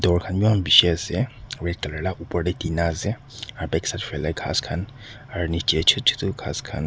door khan bhi eman bishi ase aru etu laga opor te tina ase back side phale ghass khan aru niche chota chota ghass khan--